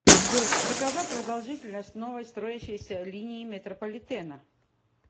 джой какова продолжительность новой строящейся линии метрополитена